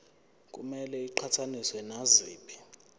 kumele iqhathaniswe naziphi